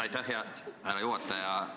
Aitäh, härra juhataja!